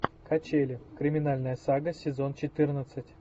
качели криминальная сага сезон четырнадцать